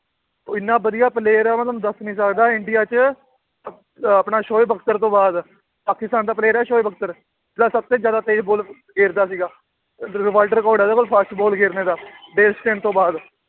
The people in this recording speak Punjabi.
ਉਹ ਇੰਨਾ ਵਧੀਆ player ਹੈ ਮੈਂ ਤੁਹਾਨੂੰ ਦੱਸ ਨੀ ਸਕਦਾ ਇੰਡੀਆ 'ਚ ਅਹ ਆਪਣਾ ਸੋਏ ਬਖਤਰ ਤੋਂ ਬਾਅਦ ਪਾਕਿਸਤਾਨ ਦਾ player ਹੈ ਸੋਏ ਬਖਤਰ, ਜਿਹੜਾ ਸਭ ਤੇ ਜ਼ਿਆਦਾ ਤੇਜ਼ ਬਾਲ ਗੇਰਦਾ ਸੀਗਾ world record ਹੈ ਉਹਦੇ ਕੋਲ fast ਬਾਲ ਖੇਲਣੇ ਦਾ ਤੋਂ ਬਾਅਦ